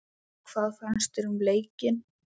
Hvað fannst þér um leikinn?